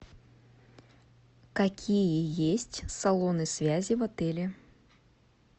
какие есть салоны связи в отеле